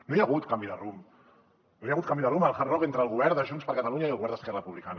no hi ha hagut canvi de rumb no hi ha hagut canvi de rumb al hard rock entre el govern de junts per catalunya i el govern d’esquerra republicana